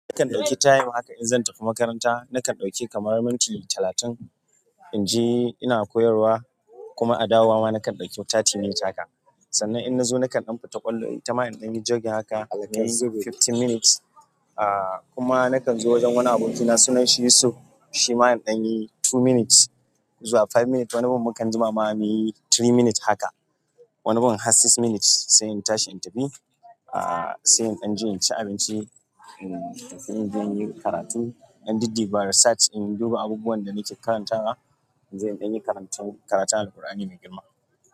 Nakan ɗauki time haka in zan tafi makaranta, nakan ɗauki kamar minti talatin in je ina koyarwa, kuma a dawowa ma nakan ɗauki thirty minutes haka. Sannan in na zo nakan ɗan fita ƙwallo ita ma in ɗanyi jogging haka in yi fifteen minutes, ahhh kuma nakan zo wajen wani abokina sunan shi Yusuf shi ma in ɗanyi two minutes zuwa five minutes, wani gun mukan jima ma muyi three minutes haka. Wani bin har six minutes, sai in tashi in tafi, ahh se in ɗanje in ci abinci in tafi in ɗanje inyi karatu, in ɗan dud dubaa research in dudduba abubuwan da nake karantawa inje in ɗanyi karantu. Karatun al-Qur'ani mai girma.